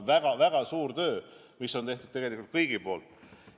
Väga-väga suur töö on tegelikult kõigi poolt tehtud.